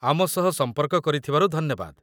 ଆମ ସହ ସମ୍ପର୍କ କରିଥିବାରୁ ଧନ୍ୟବାଦ।